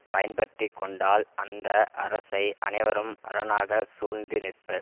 பயன்பட்டிக் கொண்டால் அந்த அரசை அனைவரும் அரணாக சூழ்ந்து நிற்பர்